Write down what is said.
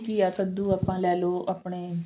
ਘੀਆ ਕਦੂ ਆਪਾਂ ਲੈਲੋ ਆਪਣੇ